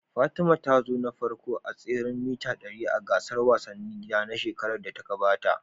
Fatima ta zo na farko a tseren mita dari a gasar wasannin gida na shekarar da ta gabata.